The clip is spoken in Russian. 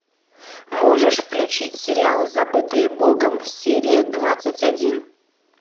можешь включить сериал забытые богом серия двадцать один